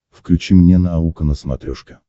включи мне наука на смотрешке